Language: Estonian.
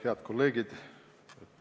Head kolleegid!